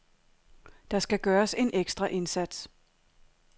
Der skal gøres en ekstra indsats.